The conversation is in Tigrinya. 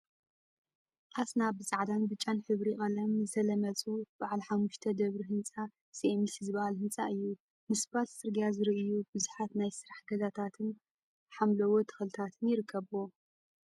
አሰና! ብፃዕዳን ብጫን ሕብሪ ቀለም ዝተለመፁ በዓል ሓሙሽተ ደብሪ ህንፃ ሲኤምሲ ዝብሃል ህንፃ እዩ፡፡ ንስፓልት ፅርግያ ዝርእዩ ቡዙሓት ናይ ስራሕ ገዛታትን ሓምለዎት ተክሊታትን ይርከቡዎም፡፡